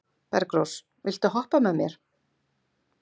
Bergrós, viltu hoppa með mér?